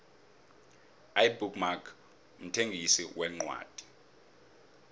ibook mark mthengisi wencwadi